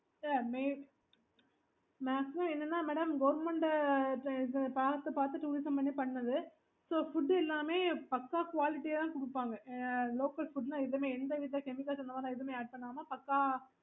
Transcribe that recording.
okay